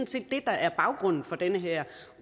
set det der er baggrunden for den her